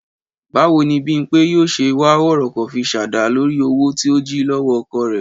Báwo ni Bímpé yóò ṣe wá wọ̀rọ̀kọ̀ fi ṣàdá lórí owó tó jí lọ́wọ́ ọkọ rẹ̀?